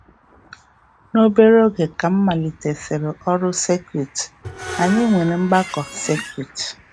Obere oge ka m malitesịrị ọrụ sekuut, anyị nwere mgbakọ sekuut.